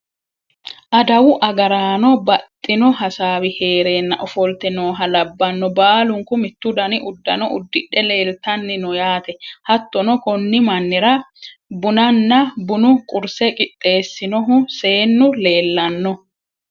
adawu agaraano baxxino hasaawi heereenna ofolte nooha labbanno, baalunku mittu dani uddano uddidhe leeltanni no yaate. hattono konni mannira bunanna bunu qurse qixxeessinohu seennu leelanno.